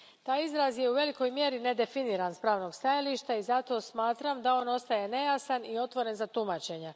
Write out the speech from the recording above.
Taj izraz je u velikoj mjeri nedefiniran s pravnog stajališta i zato smatram da on ostaje nejasan i otvoren za tumačenje.